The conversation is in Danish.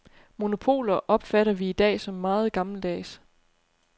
Monopoler opfatter vi i dag som meget gammeldags.